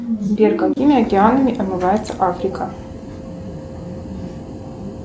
сбер какими океанами омывается африка